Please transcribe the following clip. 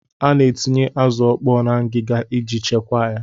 A na-etinye azụ ọkpọọ na ngịga iji chekwaa ya.